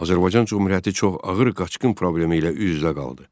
Azərbaycan Cümhuriyyəti çox ağır qaçqın problemi ilə üz-üzə qaldı.